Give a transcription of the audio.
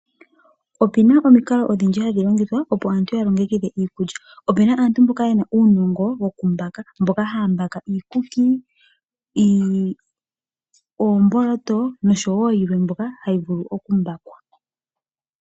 Opu na omikalo odhindji ndhoka aantu haa longitha opo ya longekidhe iikulya. Opu na aantu mboka ye na uunongo woku mbaka na ohaa mbaka iikuki, oomboloto nosho woo yilwe mbyoka hayi vulu okumbakwa.